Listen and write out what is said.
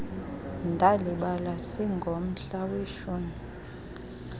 ndalibala singomhla weshumi